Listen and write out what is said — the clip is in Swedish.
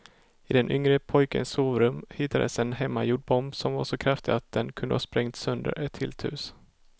I den yngre pojkens sovrum hittades en hemmagjord bomb som var så kraftig att den kunde ha sprängt sönder ett helt hus.